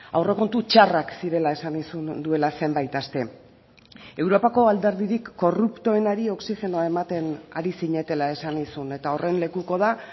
aurrekontu txarrak zirela esan nizun duela zenbait aste europako alderdirik korruptoenari oxigenoa ematen ari zinetela esan nizun eta horren lekuko da